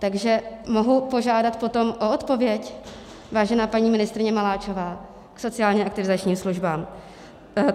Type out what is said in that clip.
Takže mohu požádat potom o odpověď, vážená paní ministryně Maláčová, k sociálně aktivizačním službám?